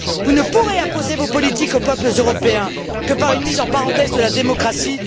Vous ne pourrez imposer vos politiques aux peuples européens que par une mise entre parenthèses de la démocratie.